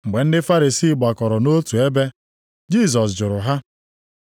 Mgbe ndị Farisii gbakọrọ nʼotu ebe, Jisọs jụrụ ha,